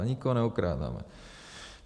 A nikoho neokrádáme.